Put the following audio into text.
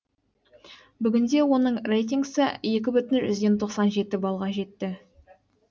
бүгінде оның рейтингісі екі бүтін жүзден тоқсан жеті балға жетті